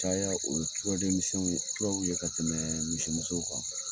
Caya o turadenmiɛnw ye turaw ye ka tɛmɛ misimusow kan